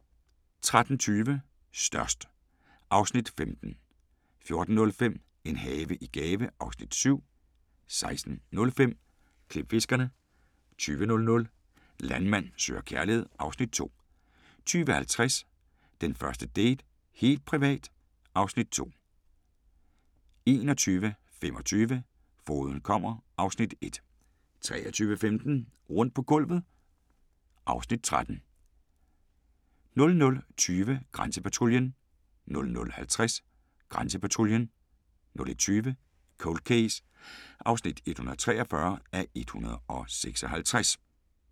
13:20: Størst (Afs. 15) 14:05: En have i gave (Afs. 7) 16:05: Klipfiskerne 20:00: Landmand søger kærlighed (Afs. 2) 20:50: Den første date - helt privat (Afs. 2) 21:25: Fogeden kommer (Afs. 1) 23:15: Rundt på gulvet (Afs. 13) 00:20: Grænsepatruljen 00:50: Grænsepatruljen 01:20: Cold Case (143:156)